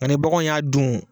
Ani bagan y'a dun.